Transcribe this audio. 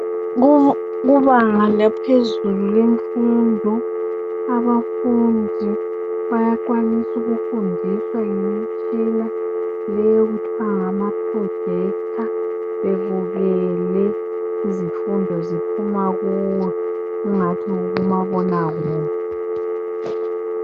Kubanga laphezulu lemfundo abafundi bayakwanisa ukufundiswa ngemitshina leyi okuthiwa ngama projector bebukele izifundo ziphuma kuyo angathi kukumabona kude.